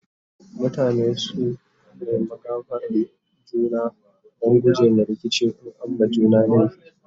mutane su nema gafaran juna Dan gujema rikici in an ma juna laifi